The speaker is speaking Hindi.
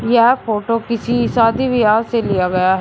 यह फोटो किसी शादी विवाह से लिया गया है।